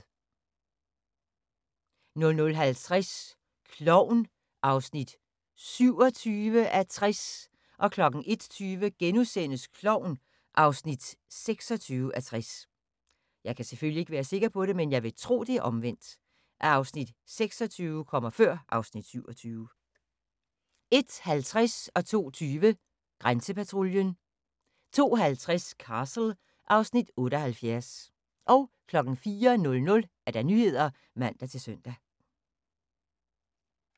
00:15: Natholdet * 00:50: Klovn (27:60) 01:20: Klovn (26:60)* 01:50: Grænsepatruljen 02:20: Grænsepatruljen 02:50: Castle (Afs. 78) 04:00: Nyhederne (man-søn)